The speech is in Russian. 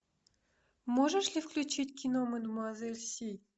можешь ли включить кино мадемуазель си